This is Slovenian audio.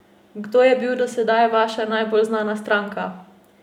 Kdo je bil do sedaj vaša najbolj znana stranka?